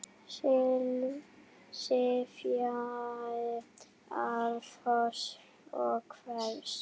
sifji árfoss og hvers!